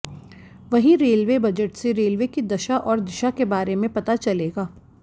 वहीं railway budget से railway की दशा और दिशा के बारे में पता चलेगा